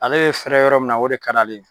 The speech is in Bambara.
Ale ye fɛrɛ yɔrɔ min na o de ka d'ale ye.